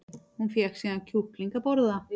Hún fékk síðan kjúkling að borða